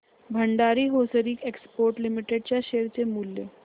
Bhandari hosiery exports limited च्या share चे मूल्य